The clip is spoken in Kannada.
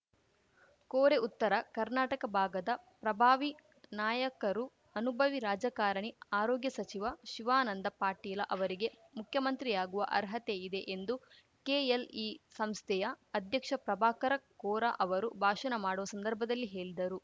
ಕೋರೆ ಉತ್ತರ ಕರ್ನಾಟಕ ಭಾಗದ ಪ್ರಭಾವಿ ನಾಯಕರೂ ಅನುಭವಿ ರಾಜಕಾರಣಿ ಆರೋಗ್ಯ ಸಚಿವ ಶಿವಾನಂದ ಪಾಟೀಲ ಅವರಿಗೆ ಮುಖ್ಯಮಂತ್ರಿಯಾಗುವ ಅರ್ಹತೆಯಿದೆ ಎಂದು ಕೆಎಲ್‌ಇ ಸಂಸ್ಥೆಯ ಅಧ್ಯಕ್ಷ ಪ್ರಭಾಕರ ಕೋರ ಅವರು ಭಾಷಣ ಮಾಡುವ ಸಂದರ್ಭದಲ್ಲಿ ಹೇಲಿದರು